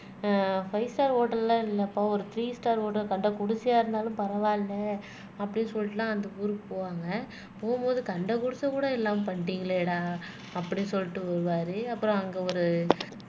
அஹ் five star ஹோட்டல்ல இல்லப்பா ஒரு த்ரீ ஸ்டார் ஹோட்டல் கண்ட குடிசையா இருந்தாலும் பரவால்ல அப்படின்னு சொல்லிட்டு எல்லாம் அந்த ஊருக்கு போவாங்க போகும்போது கண்ட குடிசை கூட இல்லாமல் பண்ணிட்டீங்களேடா அப்படி சொல்லிட்டு போவாரு அப்புறம் அங்க ஒரு